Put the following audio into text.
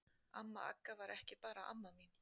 Amma Agga var ekki bara amma mín.